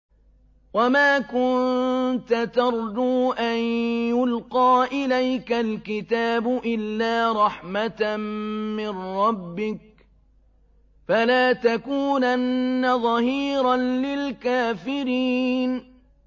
وَمَا كُنتَ تَرْجُو أَن يُلْقَىٰ إِلَيْكَ الْكِتَابُ إِلَّا رَحْمَةً مِّن رَّبِّكَ ۖ فَلَا تَكُونَنَّ ظَهِيرًا لِّلْكَافِرِينَ